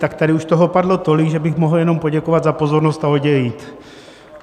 Tak tady už toho padlo tolik, že bych mohl jenom poděkovat za pozornost a odejít.